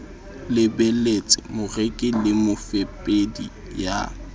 lebelletse moreki le mofepedi ya